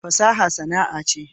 fasaha sana'a ce